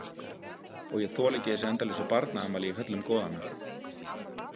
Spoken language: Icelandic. Og ég þoli ekki þessi endalausu barnaafmæli í höllum goðanna.